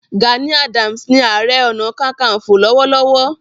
Gani Adams ni Aare Ona Kakanfo lọ́wọ́lọ́wọ́